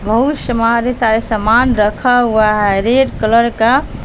बहुत समारे सारे सामान रखा हुआ है रेड कलर का--